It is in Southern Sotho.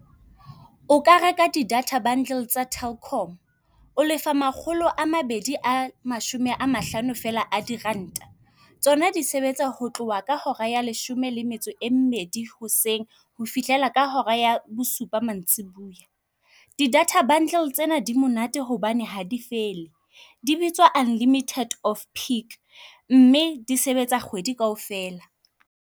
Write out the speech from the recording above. O ka reka di data bundle tsa Telkom, o lefa makgolo a mabedi a mashome a mahlano fela a diranta. Tsona di sebetsa ho tloha ka hora ya leshome le metso e mmedi hoseng ho fihlela ka hora ya bosupa mantsibuya. Didata bundle tsena di monate hobane ha di fele, di bitswa Unlimited Off Peak, mme di sebetsa kgwedi kaofela.